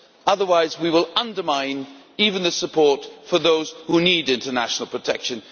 Otherwise, we will undermine even the support for those who need international protection.